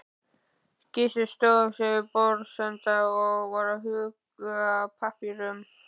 Gizur stóð við borðsenda og var að huga að pappírum.